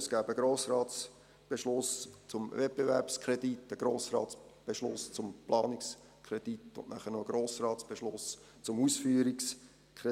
Es gäbe einen Beschluss des Grossen Rates zum Wettbewerbskredit, einen Beschluss des Grossen Rates zum Planungskredit und anschliessend noch einen Beschluss des Grossen Rates zum Ausführungskredit.